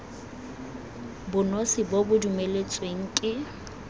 bonosi bo bo dumeletsweng ke